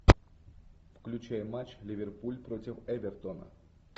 включай матч ливерпуль против эвертона